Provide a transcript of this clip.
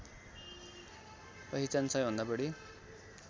पहिचान सबैभन्दा बढी